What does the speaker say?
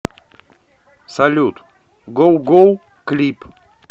салют гоу гоу клип